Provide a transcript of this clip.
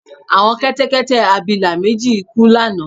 Àwọn kẹ́tẹ́kẹ́tẹ́-abilà méjì kú lánàá